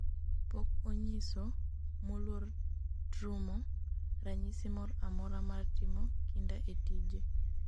pok onyiso(moluor Trumo) ranyisi moro amora mar timo kinda e tije